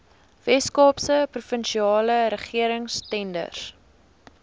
weskaapse provinsiale regeringstenders